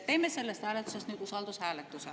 Teeme sellest hääletusest nüüd usaldushääletuse.